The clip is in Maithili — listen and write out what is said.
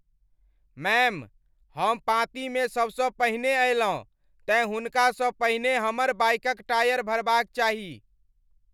मैम, हम पाँती मे सबसँ पहिने अयलहुँ, तेँ हुनकासँ पहिने हमर बाइकक टायर भरबाक चाही।